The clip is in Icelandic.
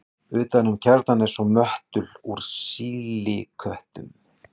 utan um kjarnann er svo möttull úr sílíkötum